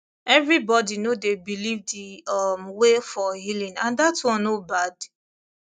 everybody no dey believe the um way for healing and that one no bad